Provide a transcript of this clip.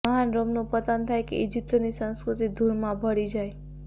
મહાન રોમનું પતન થાય કે ઈજિપ્તની સંસ્કૃતિ ધૂળમાં ભળી જાય